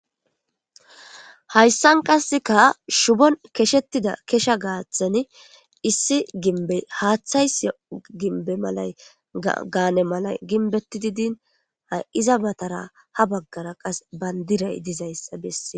Hayssan qasseka shubon keshettida kesha gaaththani issi gimbey haaththays ginbe malay gaane malay ginbeti didin ha iza batara ha baggara qas bayndiray dizayssa bessee